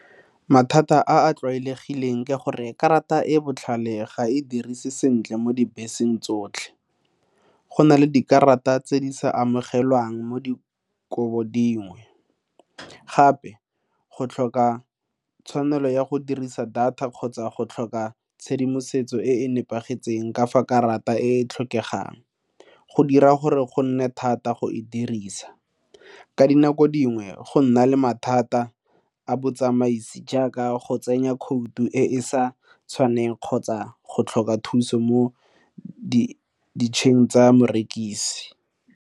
Mathata a a tlwaelegileng ke gore karata e e botlhale ga e dirise sentle mo dibeseng tsotlhe. Go na le dikarata tse di sa amogelwang mo dikobo dingwe gape go tlhoka tshwanelo ya go dirisa data kgotsa go tlhoka tshedimosetso e e nepagetseng ka fa karata e e tlhokegang go dira gore go nne thata go e dirisa. Ka dinako dingwe go nna le mathata a botsamaisi jaaka go tsenya khoutu e e sa tshwaneng kgotsa go tlhoka thuso mo tsa morekisi.